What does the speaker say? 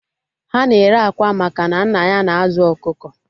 Ha na-ere akwa maka na nna ya na-azụ ọkụkọ